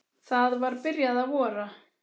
Það var byrjað að vora.